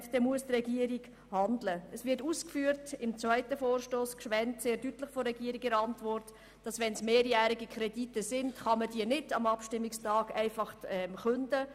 In der Regierungsantwort zum zweiten Vorstoss, demjenigen von Grossrätin Gschwend, wird sehr deutlich ausgeführt, dass man mehrjährige Kredite nicht einfach am Abstimmungstag künden kann.